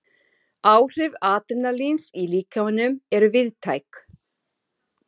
Áhrif adrenalíns í líkamanum eru víðtæk.